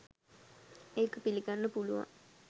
ඒක පිළිගන්න පුළුවන්.